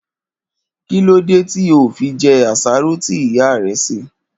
Kí ló dé tí o ò fi je̩ àsáró tí ìyá re̩ sè?